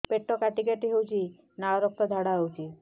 ପେଟ କାଟି କାଟି ହେଉଛି ଲାଳ ରକ୍ତ ଝାଡା ହେଉଛି